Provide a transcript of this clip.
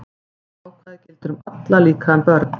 Þetta ákvæði gildir um alla, líka um börn.